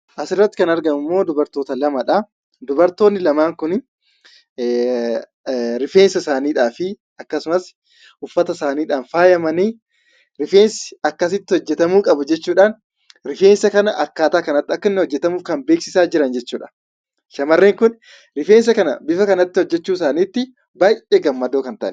Asirratti kan argamummoo dubartoota lamadha. Dubartoonni lamaan kun rifeensa isaaniidhaafi akkasumas uffata isaaniidhaan faayamanii ,rifeensa akkanatti hojjetamuu qabu jechuudhaan, rifeensa kana akkaataa kanatti hojjetamuu akka qabu kan beeksisaa jiran jechuudha. Shamarreen kun rifeensa kana akka kanatti hojjetachuu isaaniitti baay'ee gammadoo kan ta’aniidha.